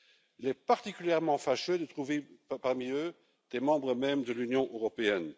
Il est particulièrement fâcheux de trouver parmi eux des membres mêmes de l'Union européenne.